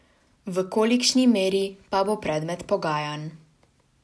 V kolikšni meri, pa bo predmet pogajanj.